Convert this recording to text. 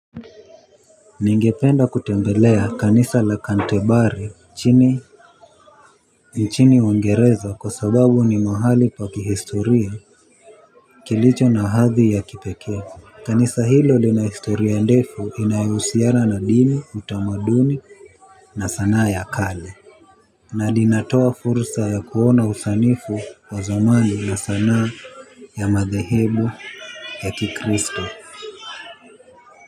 Ningependa kutembelea kanisa la kantebari nchini. Nchini uingereza kwa sababu ni mahali pa kihistoria. Kilicho na hadhi ya kipekee kanisa hilo lina historia ndefu inayohusiana na dini utamaduni. Na sanaa ya kale na linatoa fursa ya kuona usanifu wa zamani na sanaa ya madhehebu ya kikristo.